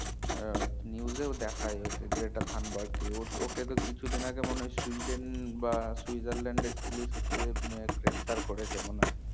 আহ news এও ওকে গেটা থাম্বাবারটকে ও ওকে তো কিছু দিন আগে সুইডেন বা সুইজারল্যান্ড এর পুলিশ হচ্ছ গ্রেফতার করেছে মনে হয়